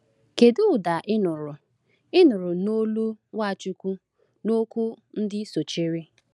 Kedu ụda ị nụrụ ị nụrụ n’olu Nwachukwu n’okwu ndị sochiri?